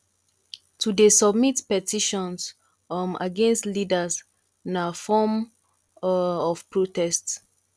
to de submit petitions um against leaders na form um of protest